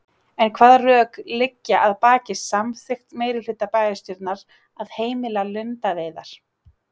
En hvaða rök liggja að baki samþykkt meirihluta bæjarstjórnar að heimila lundaveiðar?